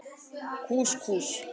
Kús Kús.